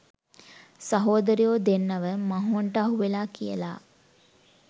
සහෝදරයෝ දෙන්නව මහෝන්ට අහුවෙලා කියලා.